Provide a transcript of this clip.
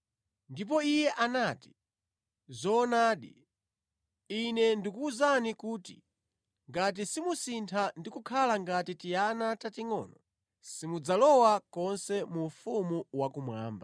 Ndipo Iye anati, “Zoonadi, Ine ndikuwuzani kuti ngati simusintha ndi kukhala ngati tiana tatingʼono, simudzalowa konse mu ufumu wakumwamba.